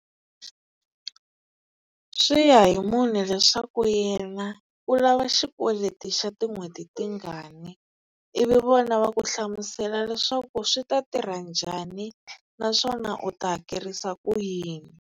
Swi ya hi munhu leswaku yena u lava xikweleti xa tin'hweti tingani ivi vona va ku hlamusela leswaku swi ta tirha njhani naswona u ta hakerisa ku yini.